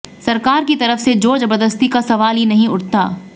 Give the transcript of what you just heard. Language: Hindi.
सरकार की तरफ से जोर जबरदस्ती का सवाल ही नहीं उठता